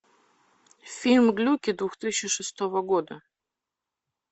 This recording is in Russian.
фильм глюки две тысячи шестого года